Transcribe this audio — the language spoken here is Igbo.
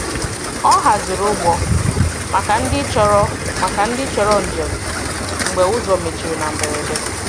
Ọ hazìrì̀ ụgbọ̀ maka ndị chọrọ̀ maka ndị chọrọ̀ njem mgbe ụzọ mechirì na mberede.